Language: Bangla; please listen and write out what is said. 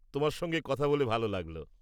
তোমার সঙ্গে কথা বলে ভাল লাগল।